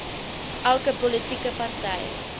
elke politieke party